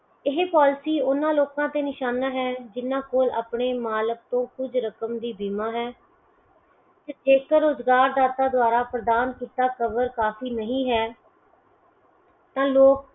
ਇਹੇ policy ਓਹਨਾ ਲੋਕਾਂ ਤੇ ਨਿਸ਼ਾਨਾ ਹੈ ਜਿੰਨਾ ਕੋਲ ਆਪਣੇ ਮਾਲਿਕ ਤੋਂ ਕੁਜ ਰਕਮ ਦੀ ਬੀਮਾ ਹੈ ਜੇਕਰ ਰੁਜ਼ਗਾਰ ਦਾਤਾ ਦੁਆਰਾ ਪ੍ਰਧਾਨ ਕੀਤਾ cover ਕਾਫੀ ਨਹੀਂ ਹੈ ਤਾ ਲੋਕ